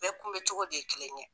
Bɛɛ kunbɛn cogo de ye kelen ye